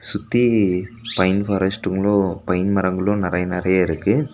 சுத்தி பைன் ஃபாரஸ்டுங்களு பைன் மரங்களு நெறைய நெறைய இருக்கு.